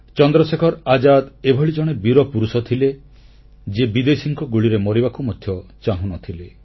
ଚନ୍ଦ୍ରଶେଖର ଆଜାଦ ଏଭଳି ଜଣେ ବୀରପୁରୁଷ ଥିଲେ ଯିଏ ବିଦେଶୀଙ୍କ ଗୁଳିରେ ମରିବାକୁ ମଧ୍ୟ ଚାହୁଁନଥିଲେ